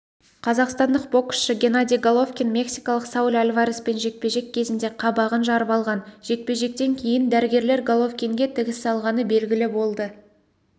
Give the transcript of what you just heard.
қазақстандық боксшы геннадий головкин мексикалық сауль альвареспен жекпе-жек кезінде қабағын жарып алған жекпе-жектен кейін дәрігерлер головкинге тігіс салғаны белгілі болды